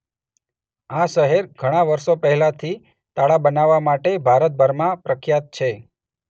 આ શહેર ઘણાં વર્ષો પહેલાંથી તાળાં બનાવવા માટે ભારતભરમાં પ્રખ્યાત છે.